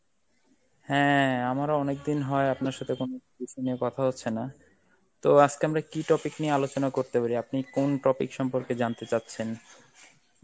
হ্যাঁ আমার অনেকদিন হয় আপনার সাথে কোনো বিষয় নিয়ে কথা হচ্ছে না, তো আজকে আমরা কি topic নিয়ে আলোচনা করতে পারি? আপনি কোন topic সম্পর্কে জানতে চাচ্ছেন?